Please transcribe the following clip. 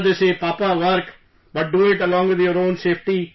Sir, they say, "Papa, work...but do it with along with your own safety